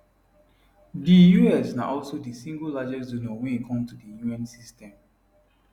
di us na also di single largest donor wen e come to di un system